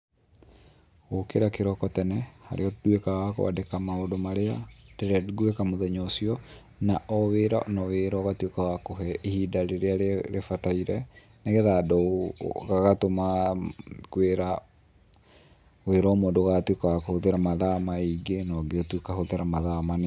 Gũkĩra kĩroko tene harĩa ũtuĩkaga wa kwandĩka maũndũ marĩa ngwĩka mũthenya ũcio, na oo wĩra oo wĩra ũgatwĩka wa kũhe ihinda rĩrĩa rĩbataire, nĩgetha andũ gagatũma wĩra wĩra ũmwe ndũgatwĩke wa kũhũthĩra mathaa maingĩ na ũngĩ ũtuĩke wa kũhũthĩra mathaa manini.